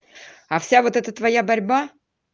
а вся вот эта твоя борьба